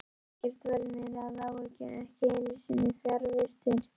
Ekkert varð mér að áhyggjum, ekki einu sinni fjarvistir.